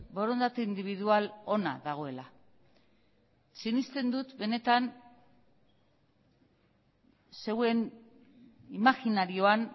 borondate indibidual ona dagoela sinesten dut benetan zeuen imajinarioan